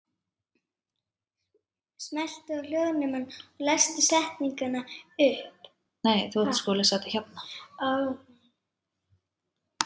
Það verður að teljast afrek.